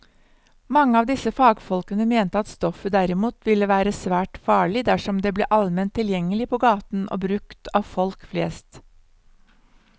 Mange av disse fagfolkene mente at stoffet derimot ville være svært farlig dersom det ble allment tilgjengelig på gaten og brukt av folk flest.